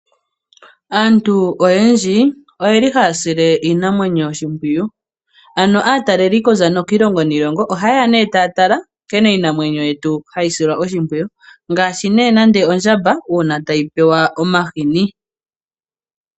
Aantu oyendji , oyeli haya sile iinamwenyo oshimpwiyu. Ano aataleli kuza kiilongo niilongo ohaye ya nee taya tala nkene iinamwenyo yetu hayi silwa oshimpwiyu. Ngaashi nee nande ondjamba uuna tayi pewa omahini .